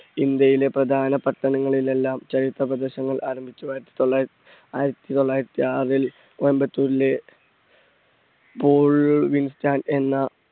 ഇന്ത്യയിലെ പ്രധാന പട്ടണങ്ങളിൽ എല്ലാം ചരിത്ര പ്രദർശനങ്ങൾ ആരംഭിച്ചു. ആയിരത്തി തൊള്ളാ, ആയിരത്തി തൊള്ളായിരത്തി ആറിൽ കോയമ്പത്തൂരിലെ എന്ന